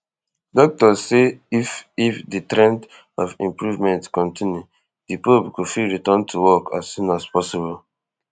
doctors say if if di trend of improvement continue di pope go fit return to work as soon as possible